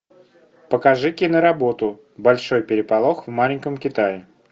покажи кино работу большой переполох в маленьком китае